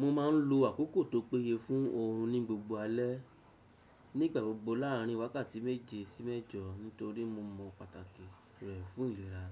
Mo ma n lo àkókò tó péye fún oorun ní gbogbo alẹ́, nígbà gbogbo láàrin wákàtí méje sí mẹjọ nítorí mo mọ pàtàkì rẹ̀ fún ìlera,